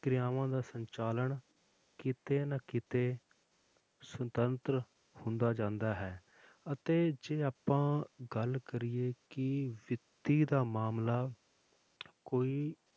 ਕਿਰਿਆਵਾਂ ਦਾ ਸੰਚਾਲਨ ਕਿਤੇ ਨਾ ਕਿਤੇ ਸੁਤੰਤਰ ਹੁੰਦਾ ਜਾਂਦਾ ਹੈ ਅਤੇ ਜੇ ਆਪਾਂ ਗੱਲ ਕਰੀਏ ਕਿ ਵਿੱਤੀ ਦਾ ਮਾਮਲਾ ਕੋਈ